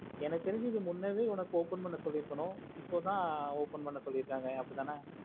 எனக்கு தெரிஞ்சி இது முன்னவே open பண்ண சொல்லிற்குனோ இப்போத open பண்ண சொல்லிருக்காங்க அப்புடித்தான